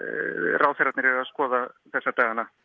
ráðherrarnir eru að skoða þessa dagana